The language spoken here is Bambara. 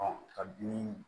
ka bin